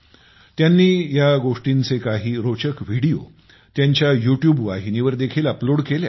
त्यांनी या गोष्टींचे काही रोचक व्हिडिओ त्यांच्या युट्यूब वाहिनीवर देखील अपलोड केले आहेत